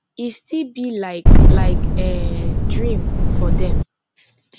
e still be like like um dream for dem